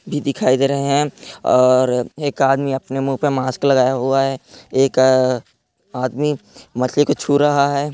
भी दिखाई दे रहे हैं और एक आदमी अपने मुँह पे मास्क लगाया हुआ हैं एक अअअअअ आदमी मछली को छू रहा हैं।